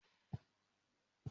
Mà á padà wá bá orírun mi.